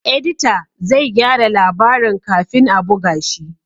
Edita zai gyara labarin kafin a buga shi